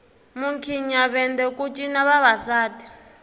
mukhinyavende ku cina vavasati